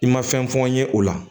I ma fɛn fɔ n ye o la